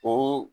O